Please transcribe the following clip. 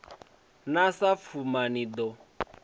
na sa pfuma ni ḓo